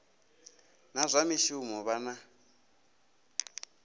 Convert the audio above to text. na zwa mishumo vha na